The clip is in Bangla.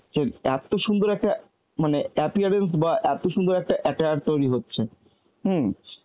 যে এত সুন্দর একটা মানে appearance বা এত সুন্দর একটা attire তৈরি হচ্ছে, hmm